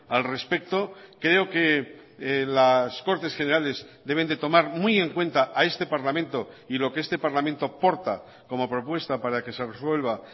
al respecto creo que las cortes generales deben de tomar muy en cuenta a este parlamento y lo que este parlamento porta como propuesta para que se resuelva